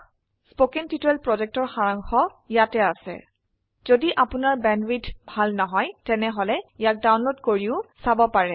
কথন শিক্ষণ প্ৰকল্পৰ সাৰাংশ ইয়াত আছে যদি আপোনাৰ বেণ্ডৱিডথ ভাল নহয় তেনেহলে ইয়াক ডাউনলোড কৰি চাব পাৰে